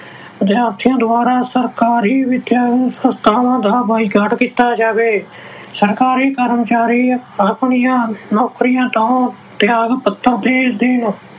ਵਿਦਿਆਰਥੀਆਂ ਦੁਆਰਾ ਸਰਕਾਰੀ ਵਿਦਿਅਕ ਸੰਸਥਾਵਾਂ ਦਾ boycott ਕੀਤਾ ਜਾਵੇ। ਸਰਕਾਰੀ ਕਰਮਚਾਰੀ ਆਪਣੀਆਂ ਨੌਕਰੀਆਂ ਤੋਂ ਤਿਆਗ ਪੱਤਰ ਦੇ ਦੇਣ।